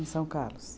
Em São Carlos?